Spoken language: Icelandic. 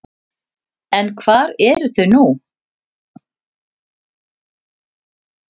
En hvar eru þau nú?